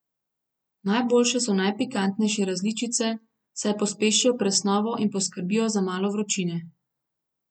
Najboljše so najpikantnejše različice, saj pospešijo presnovo in poskrbijo za malo vročine.